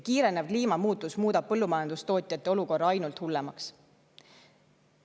Kiirenev kliimamuutus muudab põllumajandustootjate olukorra ainult hullemaks.